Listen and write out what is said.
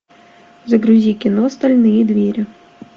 загрузи кино стальные двери